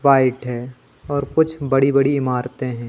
White है और कुछ बड़ी बड़ी इमारतें है।